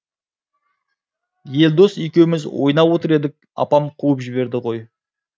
елдос екеуміз ойнап отыр едік апам қуып жіберді ғой